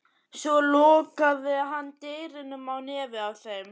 Svo lokaði hann dyrunum á nefið á þeim.